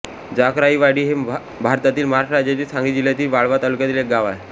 जाकराईवाडी हे भारतातील महाराष्ट्र राज्यातील सांगली जिल्ह्यातील वाळवा तालुक्यातील एक गाव आहे